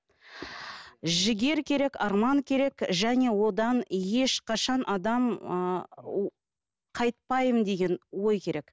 жігер керек арман керек және одан ешқашан адам ыыы қайтпаймын деген ой керек